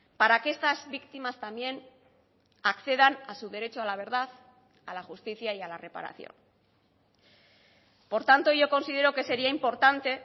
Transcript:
para que estas víctimas también accedan a su derecho a la verdad a la justicia y a la reparación por tanto yo considero que sería importante